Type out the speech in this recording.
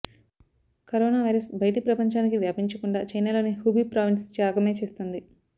corona virus బయటి ప్రపంచానికి వ్యాపించకుండా చైనాలోని హుబీ ప్రావిన్స్ త్యాగమే చేస్తోంది